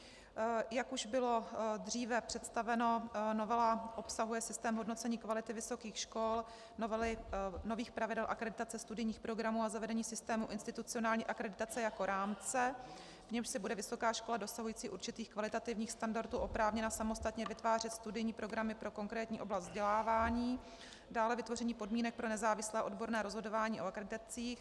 Jak už bylo dříve představeno, novela obsahuje systém hodnocení kvality vysokých škol, nových pravidel akreditace studijních programů a zavedení systému institucionální akreditace jako rámce, v němž si bude vysoká škola dosahující určitých kvalitativních standardů oprávněna samostatně vytvářet studijní programy pro konkrétní oblast vzdělávání, dále vytvoření podmínek pro nezávislé odborné rozhodování o akreditacích.